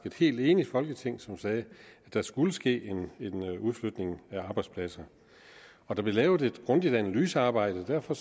et helt enigt folketing som sagde at der skulle ske en udflytning af arbejdspladser og der blev lavet et grundigt analysearbejde og derfor